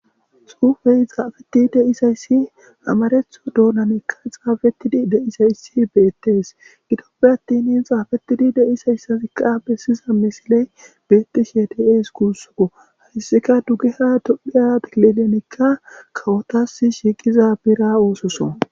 Xuufey xafeti deizayssi amareththo doonanika xafetidi deizayssi bettes giddoppe attin xafetidi deizayssazika besizay missiley bettishe de'es gussuko hayssika duggeha tophphiya killilenika kawotassi shiqqiza biira oththoso.